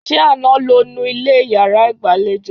Ṣé àná lo nu ilẹ̀ yàrá ìgbàlejò?